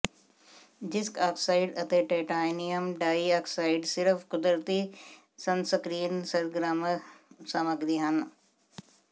ਜ਼ਿਸਕ oxide ਅਤੇ titanium dioxide ਸਿਰਫ ਕੁਦਰਤੀ ਸਨਸਕ੍ਰੀਨ ਸਰਗਰਮ ਸਾਮਗਰੀ ਹਨ